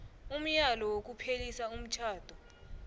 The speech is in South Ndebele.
umyalo wokuphelisa umtjhado